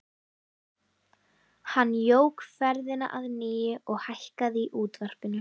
Hann jók ferðina að nýju og hækkaði í útvarpinu.